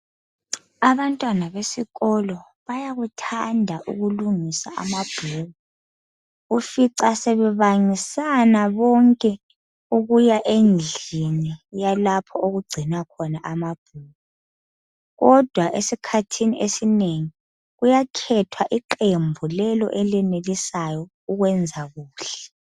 Abantwana besikolo bayakuthanda ukulungisa amabhuku. Ufica sebebangisana bonke ukuya endlini yalapho okugcinwa khona amabhuku. Kodwa esikhathini esinengi kuyakhethwa iqembu lelo elenelisayo ukwenza kuhle.